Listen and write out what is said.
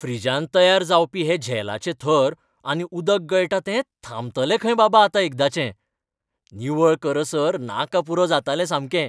फ्रिजांत तयार जावपी हे झेलाचे थर आनी उदक गळटा तें थांबतलें खंय बाबा आतां एकादाचें. निवळ करसर नाका पुरो जातालें सामकें.